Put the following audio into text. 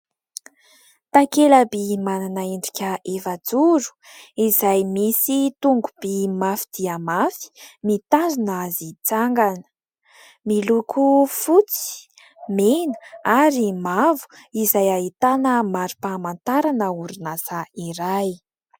Takela-by manana endrika efajoro izay misy tongo-by mafy dia mafy mitazona azy hitsangana. Miloko fotsy, mena ary mavo izay ahitana mari-pahamantarana orinasa iray.